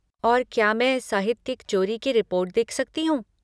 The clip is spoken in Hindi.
और क्या मैं साहित्यिक चोरी की रिपोर्ट देख सकती हूँ?